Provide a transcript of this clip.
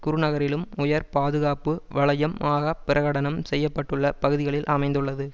குருநகரிலும் உயர் பாதுகாப்பு வலயம் ஆக பிரகடனம் செய்ய பட்டுள்ள பகுதிகளில் அமைந்துள்ளது